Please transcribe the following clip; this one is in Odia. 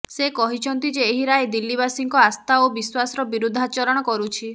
ସେ କହିଛନ୍ତି ଯେ ଏହି ରାୟ ଦିଲ୍ଲୀବାସୀଙ୍କ ଆସ୍ଥା ଓ ବିଶ୍ୱାସର ବିରୁଦ୍ଧାଚରଣ କରୁଛି